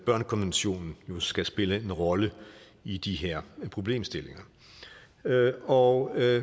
børnekonventionen jo skal spille en rolle i de her problemstillinger derudover er